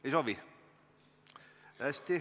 Ei soovi.